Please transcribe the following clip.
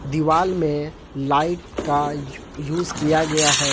दीवाल में लाइट का यूज किया गया है।